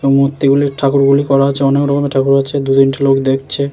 এবং মূর্তি গুলির ঠাকুর গুলি করা আছে | অনেক রকমের ঠাকুর আছে দু তিনটি লোক দেখছে।